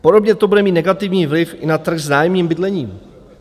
Podobně to bude mít negativní vliv i na trh s nájemním bydlení.